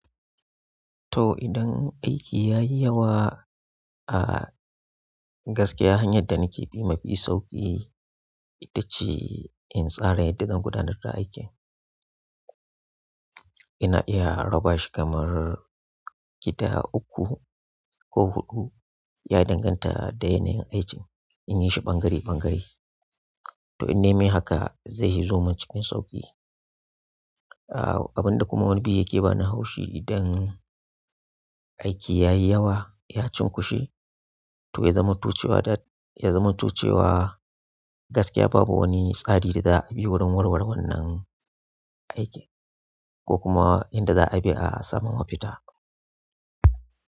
To idan aiki ya yi yawa, a gaskiya hanyar da nake bi mafi sauƙi ita ce in tsara yadda zan gudanar da aikin. Ina iya raba shi kamar gida uku ko huɗu, ya danganta da yanayin aikin, in yi shi bangare-bangare. To in nayi mai haka zai zo min cikin sauƙi. Abin da kuma wani bi yake bani haushi idan aiki ya yi yawa, ya cunkushe, to ya zamanto cewa da ya zamanto cewa gaskiya babu wani tsari da za a bi wurin warware wannan aiki ko kuma inda za a bi a samu mafita.